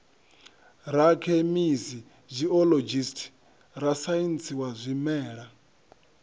rakhemisi geologist rasaintsi wa zwimela